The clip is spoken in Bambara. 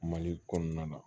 Mali kɔnɔna na